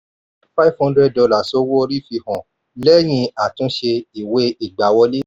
five hundred dollars owó orí fi hàn lẹ́yìn àtúnṣe ìwé ìgbáwọlé.